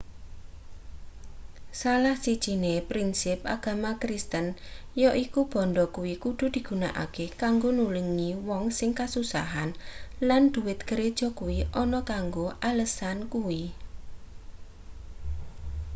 salah sijine prinsip agama kristen yaiku bandha kuwi kudu digunakake kanggo nulungi wong sing kasusahan lan dhuwit gereja kuwi ana kanggo alesan kuwi